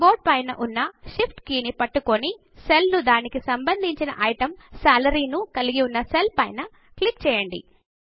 key board పైన ఉన్న Shift key ను పట్టుకుని సెల్ ను దానికి సంబంధించిన ఐటమ్ సాలరీ ను కలిగి ఉన్న సెల్ పైన క్లిక్ చేయండి